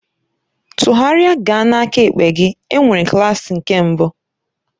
Tụgharịa gaa n'aka ekpe gị, enwere klaasị nke mbụ.